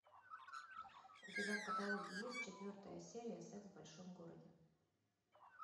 у тебя в каталоге есть четвертая серия секс в большом городе